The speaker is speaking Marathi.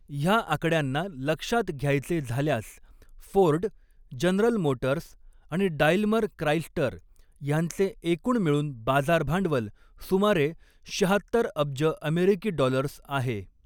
ह्या आकड्यांना लक्षात घ्यायचे झाल्यास, फोर्ड, जनरल मोटर्स आणि डाईल्मर क्राईस्टर ह्यांचे एकूण मिळून बाजार भांडवल सुमारे शहात्तर अब्ज अमेरिकी डॉलर्स आहे.